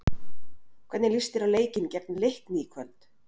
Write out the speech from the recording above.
Hvernig líst þér á leikinn gegn Leikni í kvöld?